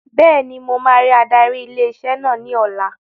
Bẹ́ẹ̀ni, mo máa rí adarí ilé iṣẹ́ náà ní ọ̀la